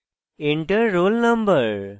enter roll no